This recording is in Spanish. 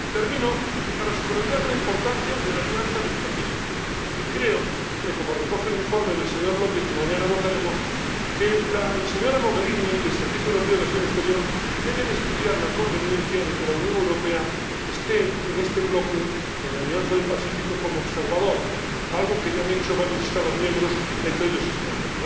Termino subrayando la importancia de la Alianza del Pacífico, y creo, como recoge el informe del señor López que mañana votaremos, que la señora Mogherini y el Servicio Europeo de Acción Exterior deben estudiar la conveniencia de que la Unión Europea esté en este bloque —en la Alianza del Pacífico— como observador, algo que ya han hecho varios Estados miembros, entre ellos España.